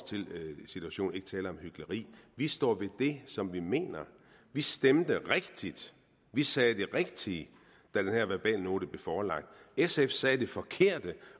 situation ikke tale om hykleri vi står ved det som vi mener vi stemte rigtigt vi sagde det rigtige da den her verbalnote blev forelagt sf sagde det forkerte